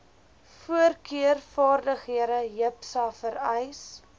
voorkeurvaardighede jipsa vereis